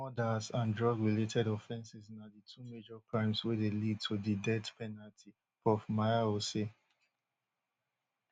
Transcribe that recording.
murders and drugrelated offenses na di two major crimes wey dey lead to di death penalty prof miao say